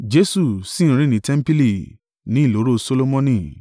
Jesu sì ń rìn ní tẹmpili, ní ìloro Solomoni.